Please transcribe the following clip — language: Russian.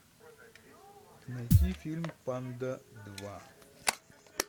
найти фильм панда два